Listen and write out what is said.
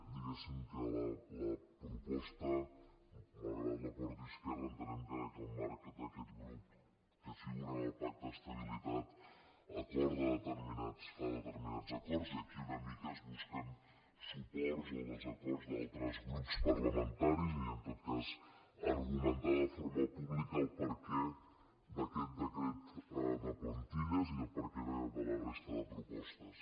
digués·sim que la proposta malgrat que la porti esquerra en·tenem que en el marc d’aquest grup que figura en el pacte d’estabilitat acorda determinats fa determinats acords i aquí una mica es busquen suports o desa·cords d’altres grups parlamentaris i en tot cas argu·mentar de forma pública el perquè d’aquest decret de plantilles i el perquè de la resta de propostes